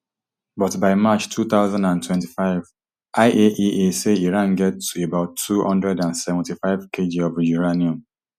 but by march two thousand and twenty-five iaea say iran get about two hundred and seventy-fivekg of uranium